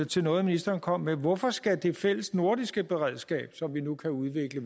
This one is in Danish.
til noget ministeren kom med hvorfor skal det fælles nordiske beredskab som vi nu kan udvikle